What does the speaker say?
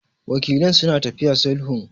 Wakilan suna tafiya sulhun.